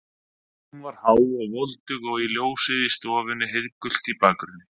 Hún var há og voldug og ljósið í stofunni heiðgult í bakgrunni.